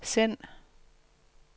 send